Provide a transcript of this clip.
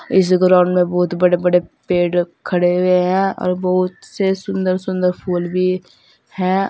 इस ग्राउंड में बहुत बड़े बड़े पेड़ खड़े हुए हैं और बहोत से सुंदर सुंदर फूल भी है।